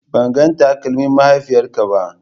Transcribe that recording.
Ban ga takalmin mahaifiyarka ba.